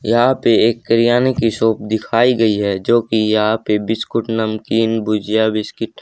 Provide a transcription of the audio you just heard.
यहां पे एक बिरयानी की शॉप दिखाई गई है जो कि यहां पे बिस्कुट नमकीन भुजिया बिस्किट--